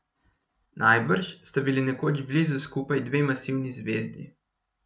Najbrž sta bili nekoč blizu skupaj dve masivni zvezdi.